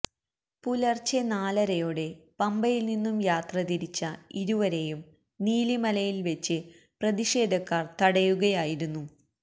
പുലര്ച്ചെ നാലരയോടെ പമ്പയില് നിന്നും യാത്ര തിരിച്ച ഇരുവരെയും നീലിമലയില് വെച്ച് പ്രതിഷേധക്കാര് തടയുകയായിരുന്നു